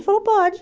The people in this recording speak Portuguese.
Ele falou, pode.